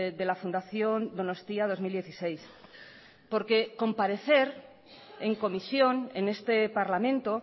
de la fundación donostia dos mil dieciséis porque comparecer en comisión en este parlamento